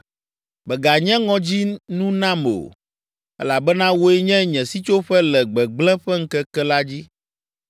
Mèganye ŋɔdzinu nam o elabena wòe nye nye sitsoƒe le gbegblẽ ƒe ŋkeke la dzi.